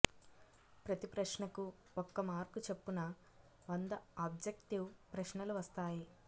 ప్రతి ప్రశ్నకు ఒక మార్కు చొప్పున వంద ఆబ్జెక్టివ్ ప్రశ్నలు వస్తాయి